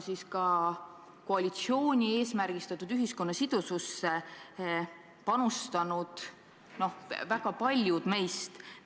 Ka koalitsiooni eesmärgina esitatud ühiskonna sidususse on väga tugevalt panustanud väga paljud meist.